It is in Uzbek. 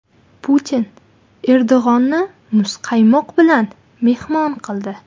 Putin Erdo‘g‘onni muzqaymoq bilan mehmon qildi.